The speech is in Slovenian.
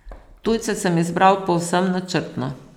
Tujce sem izbral povsem načrtno.